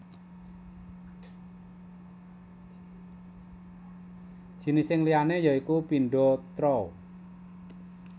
Jinising liyané ya iku pindo throw